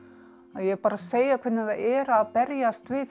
ég er bara að segja hvernig það er að berjast við